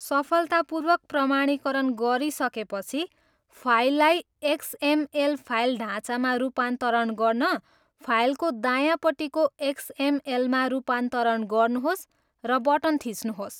सफलतापूर्वक प्रमाणीकरण गरिसकेपछि, फाइललाई एक्सएमएल फाइल ढाँचामा रूपान्तरण गर्न फाइलको दायाँपट्टिको एक्सएमएलमा रूपान्तरण गर्नुहोस् र बटन थिच्नुहोस्।